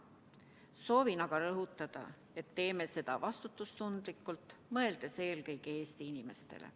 Soovin aga rõhutada, et me teeme seda vastutustundlikult, mõeldes eelkõige Eesti inimestele.